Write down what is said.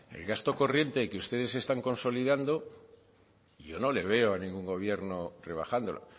el gasto corriente que ustedes se están consolidando yo no le veo a ningún gobierno rebajándolo